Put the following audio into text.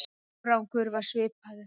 Árangur varð svipaður.